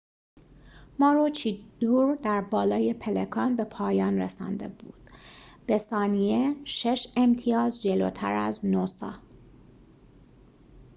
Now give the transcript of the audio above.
ماروچیدور در بالای پلکان به پایان رسانده بود به ثانیه شش امتیاز جلوتر از نوسا